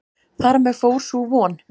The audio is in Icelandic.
Þar með fór sú von.